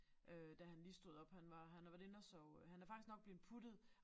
Øh da han lige stod op han var han har været inde og sove øh han er nok faktisk blevet puttet